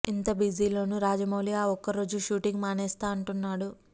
ఇంత బిజీలోనూ రాజమౌళి ఆ ఒక్క రోజు షూటింగ్ మానేస్తా అంటున్నాడు